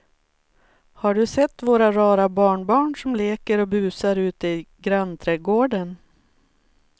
Har du sett våra rara barnbarn som leker och busar ute i grannträdgården!